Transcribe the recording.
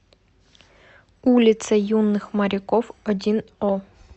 улице юных моряков один о